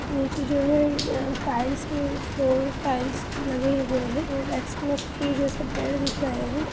नीचे जो है अ टाइल्स के फ्लोर टाइल्स लगे हुए हैं और एक्समस ट्री जैसे पेड़ दिख रहे हैं।